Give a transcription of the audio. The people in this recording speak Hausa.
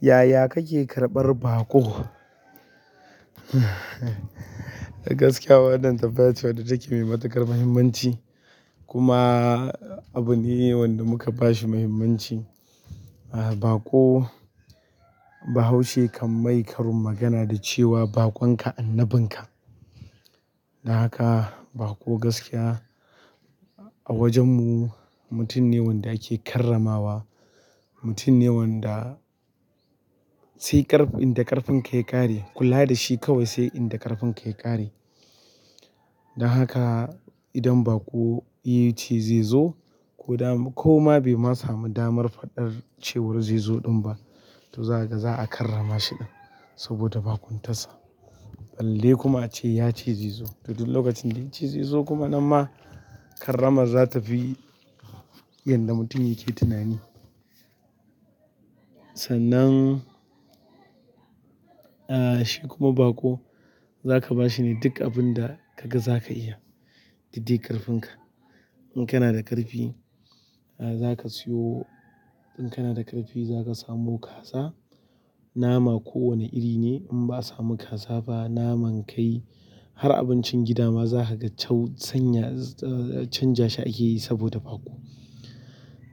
Yaya kake karɓar baƙo? Gaskiya waɗannan tufa ce wadda take mai matuƙar muhimmanci kuma abu ne wanda muka ba shi muhimmanci. Ah, baƙo, bahaushe kan mai karin magana da cewa, "Baƙon ka annabin ka." Don haka baƙo gaskiya a wajen mu mutum ne wanda ake karramawa, mutum ne wanda sai ƙarfin, inda ƙarfin ka ya ƙare kula da shi kawai sai inda ƙarfin ka ya ƙare. Don haka idan baƙo ya ce zai zo ko dama. Ko ma bai ma samu damar faɗar cewa zai zo ɗin ba, to za a karrama shi ɗin saboda baƙuntas sa. Balle kuma ace ya ce zai zo, to duk lokacin da ya ce zai zo kuma nan ma karrama za ta fi yadda mutum yake tunani. Sannan, ah, shi kuma baƙo za ka ba shi ne duk abin da ka ga za ka iya, duk dai ƙarfin ka. In kana da ƙarfi, ah, za ka siyo. In kana da ƙarfi za ka samu kaza, nama ko wane iri ne in ba a samu kaza ba naman kai har abincin gida ma za ka ga cau-- sanya, ah, canja shi ake yi saboda baƙo.